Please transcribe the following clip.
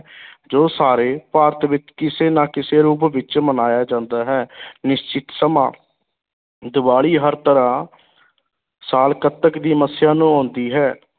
ਜੋ ਸਾਰੇ ਭਾਰਤ ਵਿੱਚ ਕਿਸੇ ਨਾ ਕਿਸੇ ਰੂਪ ਵਿੱਚ ਮਨਾਇਆ ਜਾਂਦਾ ਹੈ ਨਿਸ਼ਚਿਤ ਸਮਾਂ, ਦੀਵਾਲੀ ਹਰ ਤਰ੍ਹਾਂ ਸਾਲ ਕੱਤਕ ਦੀ ਮੱਸਿਆ ਨੂੰ ਆਉਂਦੀ ਹੈ।